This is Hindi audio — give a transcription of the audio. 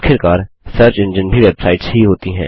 आखिरकार सर्च एंजिन भी वेबसाइट्स ही होती हैं